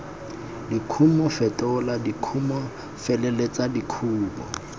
dikumo fetola dikumo feleletsa dikumo